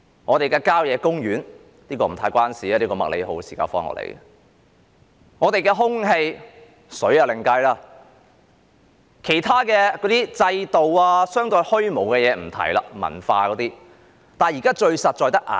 我們的郊野公園——這是不太相關的，這是麥理浩時代的——我們的空氣，但水是另計的，以及其他制度等相對虛無的事情也不提了，例如文化等。